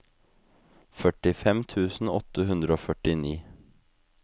førtifem tusen åtte hundre og førtini